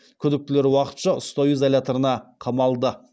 күдіктілер уақытша ұстау изоляторына қамалды